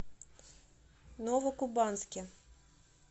новокубанске